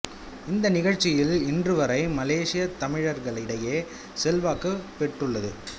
இந்த நிகழ்ச்சி இன்று வரை மலேசியத் தமிழர்களிடையே செல்வாக்கு பெற்றுள்ளது